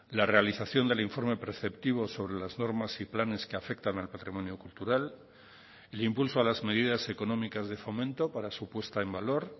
la realización del informe preceptivo sobre las normas y planes que afectan al patrimonio cultural el impulso a las medidas económicas de fomento para su puesta en valor